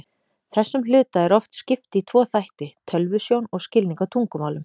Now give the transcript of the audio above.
Þessum hluta er oft skipt í tvo þætti, tölvusjón og skilning á tungumálum.